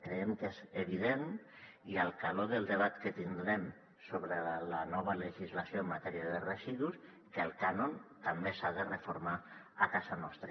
creiem que és evident a l’empara del debat que tindrem sobre la nova legislació en matèria de residus que el cànon també s’ha de reformar a casa nostra